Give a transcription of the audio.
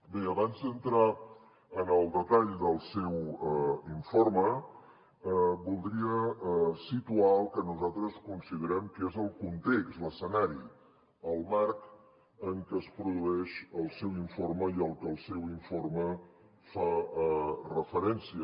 bé abans d’entrar en el detall del seu informe voldria situar el que nosaltres considerem que és el context l’escenari el marc en què es produeix el seu informe i al que el seu informe fa referència